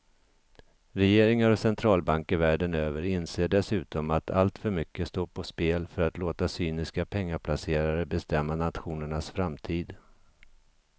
Regeringar och centralbanker världen över inser dessutom att alltför mycket står på spel för att låta cyniska pengaplacerare bestämma nationernas framtid.